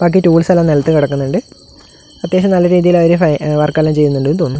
ബാക്കി ടൂൾസ് എല്ലാം നിലത്ത് കിടക്കുന്നുണ്ട് അത്യാവശ്യം നല്ല രീതിയിൽ അവര് വർക്കെല്ലാം ചെയ്യുന്നുണ്ടെന്ന് തോന്നു--